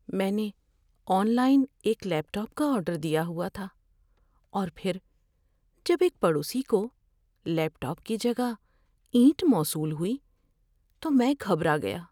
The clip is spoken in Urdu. میں نے آن لائن ایک لیپ ٹاپ کا آرڈر دیا ہوا تھا، اور پھر جب ایک پڑوسی کو لیپ ٹاپ کی جگہ اینٹ موصول ہوئی تو میں گھبرا گیا۔